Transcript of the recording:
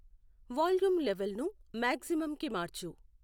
volume level ను మాక్సిమంకి మార్చు